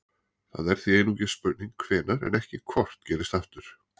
Það er því einungis spurning hvenær en ekki hvort gerist aftur.